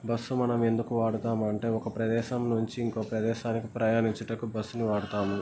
Bus మనము ఎందుకు వాడుతాం అంటే ఒక ప్రదేశం నుంచి ఇంకో ప్రదేశానికి ప్రయానించుటకు బస్సు వాడుతాము.